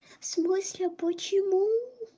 в смысле почему